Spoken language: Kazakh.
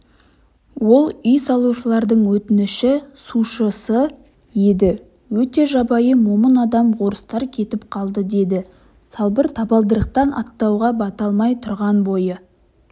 ол үй салушылардың отыншы-сушысы еді өте жабайы момын адам орыстар кетіп қалды деді салбыр табалдырықтан аттауға бата алмай тұрған бойы